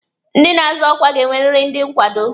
Ndị na-azọ ọkwa ga-enweriri ndị nkwado.